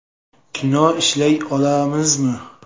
Kino ishlay olamizmi?